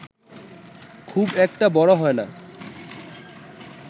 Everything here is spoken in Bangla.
খুব একটা বড় হয়না